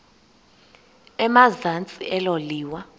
emazantsi elo liwa